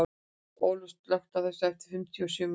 Olaf, slökktu á þessu eftir fimmtíu og sjö mínútur.